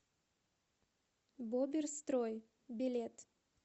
боберстрой билет